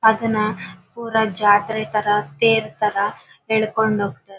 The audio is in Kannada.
ಅದನ ಪುರ ಜಾತ್ರೆ ತರ ತೇರ್ ತರ ಎಳ್ಕೊಂಡ್ ಹೋಗ್ತಾರೆ.